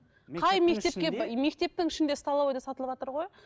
мектептің ішінде столовыйда сатылыватыр ғой